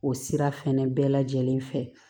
O sira fɛnɛ bɛɛ lajɛlen fɛ